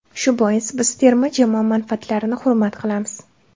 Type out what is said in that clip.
Shu bois, biz terma jamoa manfaatlarini hurmat qilamiz.